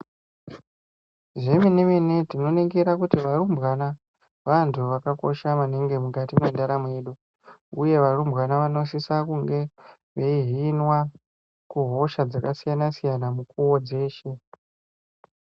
Zvemene mene tinoningira kuti varumbwana vantu vakakosha maningi mukati mwendaramo yedu uye varumbwana vanosisa kunge veihinwa kuhosha dzakasiyana siyana munguwa dzeshe.